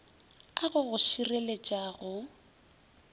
a go go šireletša go